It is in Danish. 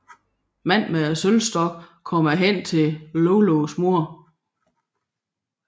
Manden med sølvstokken kommer hen til Loulous mor